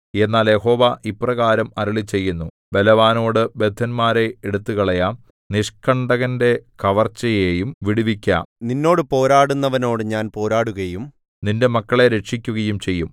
എന്നാൽ യഹോവ ഇപ്രകാരം അരുളിച്ചെയ്യുന്നു ബലവാനോടു ബദ്ധന്മാരെ എടുത്തുകളയാം നിഷ്കണ്ടകന്റെ കവർച്ചയെയും വിടുവിക്കാം നിന്നോട് പോരാടുന്നവനോടു ഞാൻ പോരാടുകയും നിന്റെ മക്കളെ രക്ഷിക്കുകയും ചെയ്യും